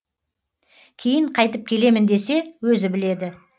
кейін қайтып келемін десе өзі біледі